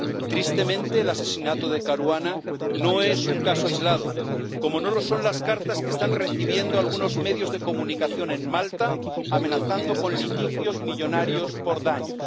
Tristemente, el asesinato de Caruana no es un caso aislado, como no lo son las cartas que están recibiendo algunos medios de comunicación en Malta amenazando con litigios millonarios por daños.